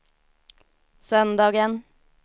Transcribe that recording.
söndagen